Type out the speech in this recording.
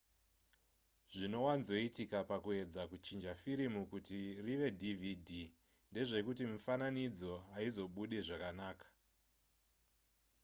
zvinowanzoitika pakuedza kuchinja firimu kuti rive dvd ndezvekuti mifananidzo haizobude zvakanaka